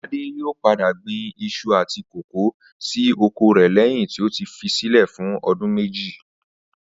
Adé yóò padà gbin is̩u àti kókò sí oko rè̩ léyìn tó ti fi sílè̩ fún o̩dún méjì